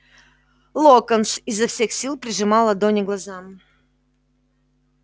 локонс изо всех сил прижимал ладони к глазам